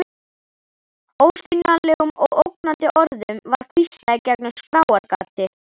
Óskiljanlegum og ógnandi orðum var hvíslað í gegnum skráargati.